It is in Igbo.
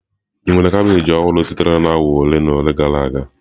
Ị nwere kabeeji ọhụrụ sitere na awa ole na ole gara aga?